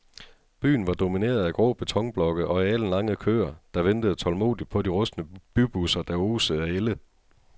Byen var domineret af grå betonblokke og alenlange køer, der ventede tålmodigt på de rustne bybusser, der osede af ælde.